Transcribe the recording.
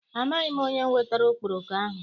Amaghị m onye wetara okporoko ahụ.